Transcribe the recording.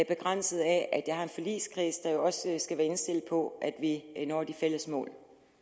begrænset af at jeg har en forligskreds der også skal være indstillet på at vi når de fælles mål